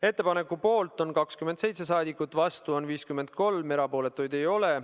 Ettepaneku poolt on 27 rahvasaadikut, vastuolijaid on 53 ja erapooletuid ei ole.